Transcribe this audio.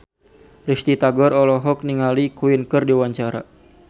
Risty Tagor olohok ningali Queen keur diwawancara